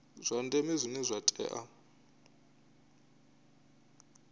zwa ndeme zwine zwa tea